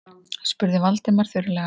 spurði Valdimar þurrlega.